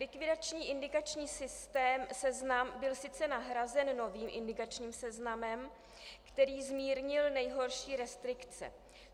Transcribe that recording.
Likvidační indikační systém, seznam, byl sice nahrazen novým indikačním seznamem, který zmírnil nejhorší restrikce.